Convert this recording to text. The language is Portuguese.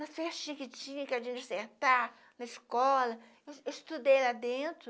Nas festinhas que tinha que a gente sentar na escola, eu estudei lá dentro.